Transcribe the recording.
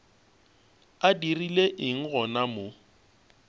a dirile eng gona mo